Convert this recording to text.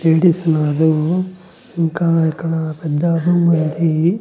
Dentist ఉన్నాడు ఇంకా ఇక్కడ పెద్ద రూమ్ ఉంది.